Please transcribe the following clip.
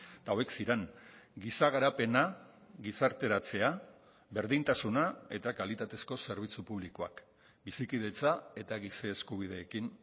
eta hauek ziren giza garapena gizarteratzea berdintasuna eta kalitatezko zerbitzu publikoak bizikidetza eta giza eskubideekin